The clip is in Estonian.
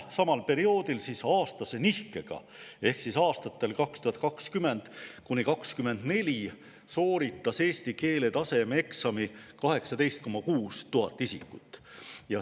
Samal perioodil, tegelikult aastase nihkega ehk aastatel 2020–2024 sooritas eesti keele tasemeeksami 18 600 isikut.